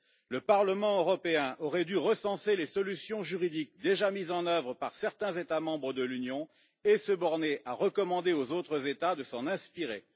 Le Parlement européen aurait dû recenser les solutions juridiques déjà mises en œuvre par certains États membres de l'Union et se borner à recommander aux autres États de s'en inspirer.